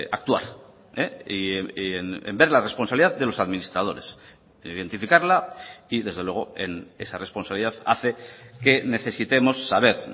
actuar y en ver la responsabilidad de los administradores identificarla y desde luego esa responsabilidad hace que necesitemos saber